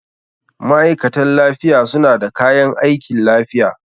Ma'aikatan lafiya suna da kayan aikin lafiya.